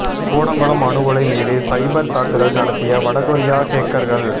கூடங்குளம் அணு உலை மீது சைபர் தாக்குதல் நடத்தியது வடகொரிய ஹேக்கர்கள்